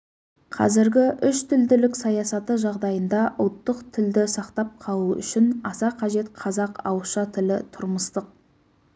қазіргі үштілділік саясаты жағдайында ұлттық тілді сақтап қалу үшін аса қажет қазақ ауызша тілі тұрмыстық